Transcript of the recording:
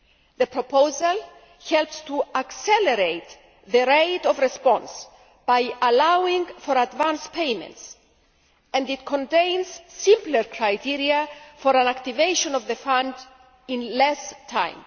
The proposal helps to accelerate the rate of response by allowing for advance payments, and it contains simpler criteria for an activation of the Fund in less time.